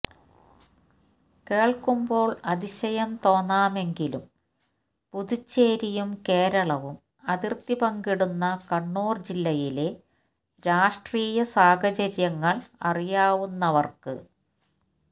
കേൾക്കുമ്പോൾ അതിശയം തോന്നാമെങ്കിലും പുതുച്ചേരിയും കേരളവും അതിർത്തി പങ്കിടുന്ന കണ്ണൂർ ജില്ലയിലെ രാഷ്ട്രീയ സാഹചര്യങ്ങൾ അറിയാവുന്നവർക്ക്